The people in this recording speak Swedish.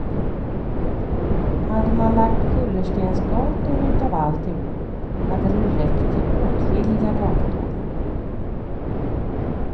Hade man lagt kullerstensgator utav alltihop hade det räckt till åtskilliga gator.